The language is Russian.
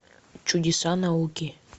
чудеса науки